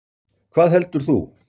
Hvað heldur þú?